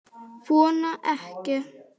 Vona ekki.